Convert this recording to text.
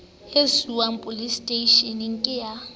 e siuwang poleseteishene ke ya